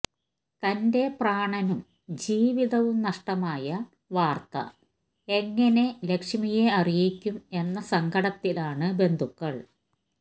തന്റെ പ്രാണനും ജീവിതവും നഷ്ടമായ വാര്ത്ത എങ്ങനെ ലക്ഷ്മിയെ അറിയിക്കും എന്ന സങ്കടത്തിലാണ് ബന്ധുക്കള്